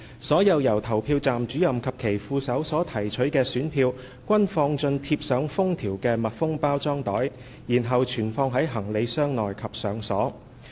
所有由投票站主任及其副手所提取的選票均放進貼上封條的密封包裝袋，然後存放在行李箱內及上鎖。